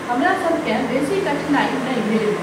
हमरासभकेँ बेसी कठिनाई नहि भेल।